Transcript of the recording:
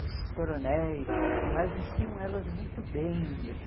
os coronéis e tudo mais, vestiam elas muito bem assim.